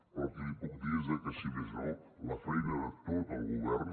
però el que li puc dir és que si més no la feina de tot el govern